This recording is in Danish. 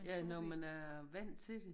Ja når man er vandt til det